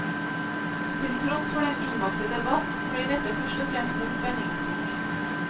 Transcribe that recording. Til tross for den innbakte debatt, blir dette først og fremst en spenningsbok.